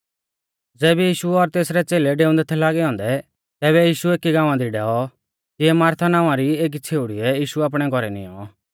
ज़ैबै यीशु और तेसरै च़ेलै डेऊंदै थै लागै औन्दै तैबै यीशु एकी गाँवा दी डैऔ तिऐ मारथा नावां री एकी छ़ेउड़ीऐ यीशु आपणै घौरै निऔं